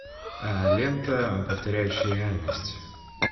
лента повторяющие реальность